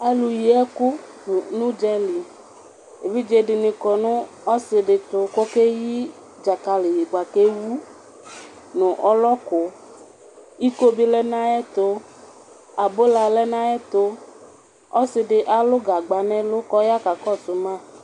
Alʋ yi ɛkʋ nʋ ʋdzali, evidze ni kɔnʋ ɔsidi ɛtʋ kʋ okeyi dzakali bʋakʋ ewu nʋ ɔlɔkʋ iko bi lɛnʋ ayʋ ɛtʋ, abʋla lɛnʋ ayʋ ɛtʋ, asɔdi alʋ gagba nʋ ɛlʋ kʋ ɔya kakɔsʋ ma